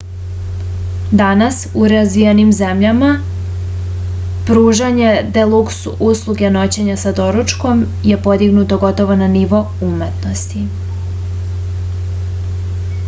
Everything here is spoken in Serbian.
danas u razvijenim zemljama pružanje deluks usluge noćenja sa doručkom je podignuto gotovo na nivo umetnosti